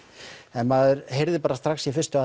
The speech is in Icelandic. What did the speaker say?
en maður heyrði strax í fyrstu